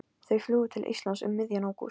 Þau flugu til Íslands um miðjan ágúst.